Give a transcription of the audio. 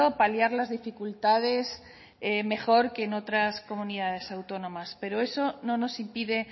paliar las dificultades mejor que en otras comunidades autónomas pero eso no nos impide